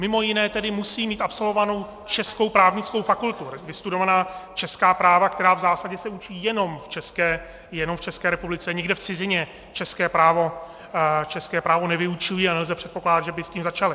Mimo jiné tedy musí mít absolvovanou českou právnickou fakultu, vystudovaná česká práva, která v zásadě se učí jenom v České republice, nikde v cizině české právo nevyučují a nelze předpokládat, že by s tím začali.